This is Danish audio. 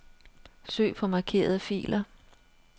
Søg på markerede filer.